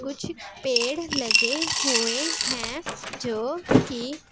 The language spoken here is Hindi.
कुछ पेड़ लगे हुए है जोकि--